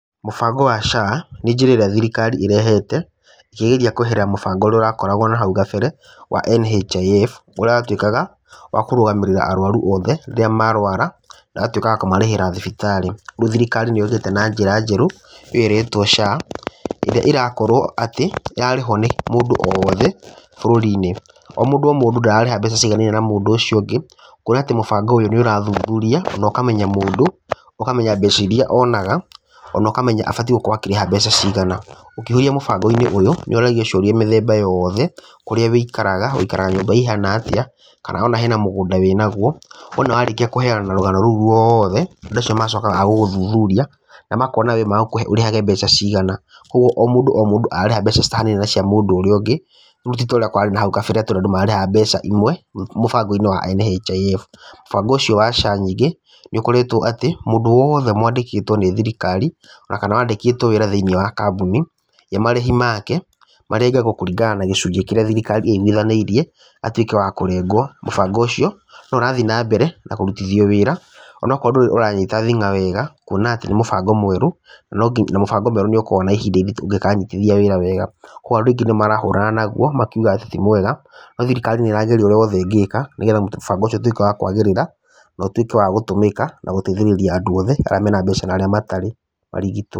Mũbango wa SHA nĩ njĩra ĩrĩa thirikari ĩrehete ĩkĩgeria kweheria mũbango ũrĩa ũrakoragwo hau kabere wa NHIF, ũrĩa wa tuĩkaga wa kũrũgamĩrĩra arwaru othe rĩrĩa marwara na ũgatuĩka wa kũmarĩhĩra thibitarĩ. Riu thirikari nĩ ĩrutĩte na njĩra njerũ ũyũ ũretwo SHA, ĩrĩa ĩrakorwo atĩ ĩrarĩhwo nĩ mũndũ o wothe bũrũri-inĩ. O mũndũ o mũndũ ndararĩha mbeca ciganaine mũndũ ũcio ũngĩ, kuona atĩ mũbango ũyũ nĩ ũrathuthuria na ũkamenya mũndũ, ũkamenya mbeca iria onaga, ona ũkamenya abatiĩ gũkorwo akĩrĩha mbeca cigana. Ũkĩihũrio mũbango-inĩ ũyũ nĩ ũragio ciũria mĩthemba yothe, kũrĩa wũikaraga, ũikaraga nyũmba ihana atĩa, kana ona hena mũgũnda wĩ naguo. Wona warĩkia kũheyana rũgano rũu rwothe, andũ magacoka magagũthuthuria, na makona we magũkũhe ũrĩhage mbeca cigana. Koguo, o mũndũ o mũndũ ararĩha mbeca citahanaine na cia mũndũ ũrĩa ũngĩ , rĩu ti ta ũrĩa kũrarĩ na hau kabere atĩ andũ mararĩhaga mbeca imwe mũbango-inĩ wa NHIF. Mũbango ũcio wa SHA ningĩ nĩ koretwo atĩ mũndũ wothe wandĩkĩtwo nĩ thirikari ona kana wandĩkĩtwo wĩra thĩiniĩ wa kambuni, we marĩhi make marengagwo kũringana na gĩcunjĩ kĩrĩa thirikari ĩiguithanĩirie atuĩke wa kũrengwo. mũbango ũcio no ũrathiĩ na mbere na kũrutithio wĩra onakorwo ndũrĩ ũranyita thing'a wega, kuona ati nĩ mũbango mwerũ, na mũbango mwerũ nĩ ũkoragwo na ihinda iritũ ũngĩkanyitithia wĩra wega. Koguo andũ aingĩ nĩ marahũrana naguo, makiuga atĩ ti mwega, no thirikari nĩ ĩrageria ũrĩa wothe ĩngĩka, nĩgetha mũbango ũcio ũtuĩke wa kwagĩrĩra, na ũtuĩke wa gũtũmĩka na gũteithĩriria andũ othe arĩa mena mbeca na arĩa matarĩ, marigitwo.